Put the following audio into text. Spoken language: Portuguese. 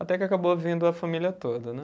Até que acabou vindo a família toda, né?